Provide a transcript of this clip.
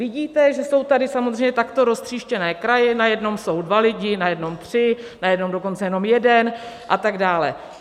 Vidíte, že jsou tady samozřejmě takto roztříštěné kraje, na jednom jsou dva lidi, na jednom tři, na jednom dokonce jenom jeden a tak dále.